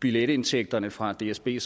billetindtægterne fra dsb er